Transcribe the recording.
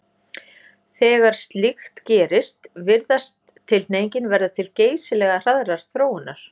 Þegar slíkt gerist virðist tilhneigingin verða til geysilega hraðrar þróunar.